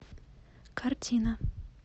картина